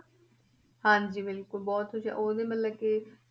ਹਾਂਜੀ ਬਿਲਕੁਲ ਬਹੁਤ ਹੁਸ਼ਿਆ~ ਉਹ ਵੀ ਮਤਲਬ ਕਿ